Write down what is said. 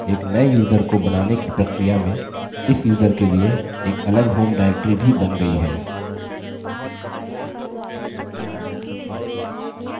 एक नये यूज़र को बनाने की प्रक्रिया में इस यूज़र के लिए एक अलग home directory भी in गयी है